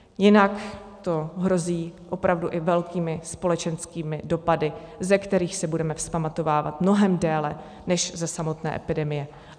Jinak to hrozí opravdu i velkými společenskými dopady, ze kterých se budeme vzpamatovávat mnohem déle než ze samotné epidemie.